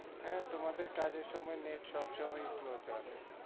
হ্যাঁ তোমাদের কাজের সময় net সবসময়েই slow চলে।